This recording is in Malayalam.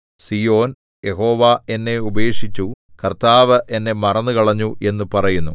സീയോൻ യഹോവ എന്നെ ഉപേക്ഷിച്ചു കർത്താവ് എന്നെ മറന്നുകളഞ്ഞു എന്നു പറയുന്നു